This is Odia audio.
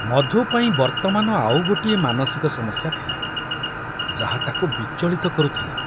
ମଧୁ ପାଇଁ ବର୍ତ୍ତମାନ ଆଉ ଗୋଟିଏ ମାନସିକ ସମସ୍ୟା ଥିଲା, ଯାହା ତାକୁ ବିଚଳିତ କରୁଥିଲା।